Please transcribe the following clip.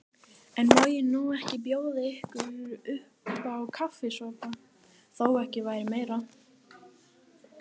En má ég nú ekki bjóða ykkur uppá kaffisopa, þó ekki væri meira.